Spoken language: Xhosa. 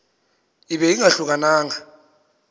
ibe ingahluka nanga